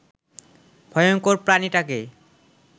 ভয়ংকর প্রাণীটাকে